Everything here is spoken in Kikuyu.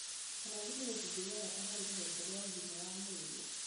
Manathi nĩ gĩcunjĩ gĩa bata harĩ rũhonge rwa ũgima wa mwĩrĩ